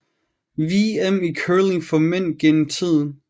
VM i curling for mænd gennem tiden